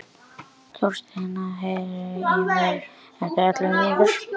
Þorsteina, heyrðu í mér eftir ellefu mínútur.